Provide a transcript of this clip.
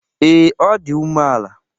Ee, ọ di umeala.